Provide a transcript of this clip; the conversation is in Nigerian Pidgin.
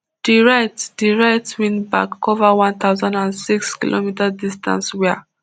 di right di right wingback cover one thousand and six km distance wia